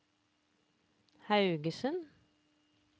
Haugesund